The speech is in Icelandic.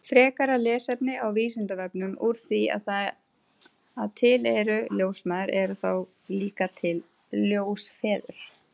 Frekara lesefni á Vísindavefnum Úr því að til eru ljósmæður, eru þá líka til ljósfeður?